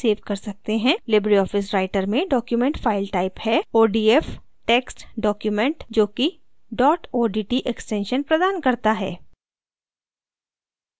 Libre office writer में default file type है odf text document जोकि dot odt extension प्रदान करता है